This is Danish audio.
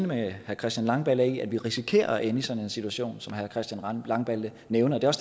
med herre christian langballe i at vi risikerer at ende i sådan en situation som herre christian langballe nævner det er